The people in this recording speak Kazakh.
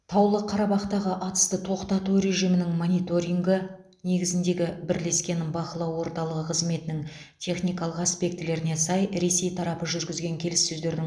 таулы қарабақтағы атысты тоқтату режимінің мониторингі негізіндегі бірлескен бақылау орталығы қызметінің техникалық аспектілеріне сай ресей тарапы жүргізген келіссөздердің